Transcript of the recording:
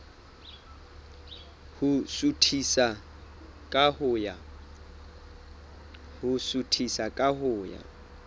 ho suthisa ka ho ya